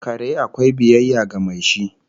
Kare akwai biyayya ga mai shi